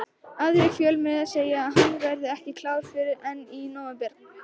Aðrir fjölmiðlar segja að hann verði ekki klár fyrr en í nóvember.